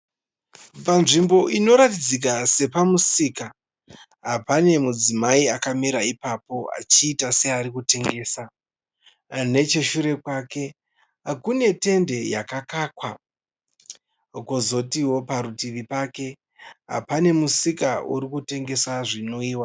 Panzvimbo inoratidzika sepamusika. Pane mudzimai akamira ipapo achiita seari kutengesa. Necheshure kwake kune tende yakakakwa. Kwozoti parutivi pake pane musika uri kutengesa zvinwiwa.